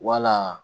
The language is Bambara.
Wala